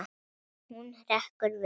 Hún hrekkur við.